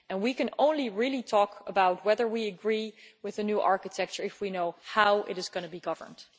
We can only really talk about whether we agree with the new architecture if we know how it is going to be governed.